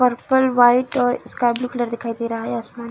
purple white और sky blue colour दिखाई दे रहा है आसमान --